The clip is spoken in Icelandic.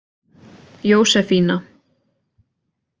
Jósefína